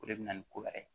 O de bɛ na ni ko wɛrɛ ye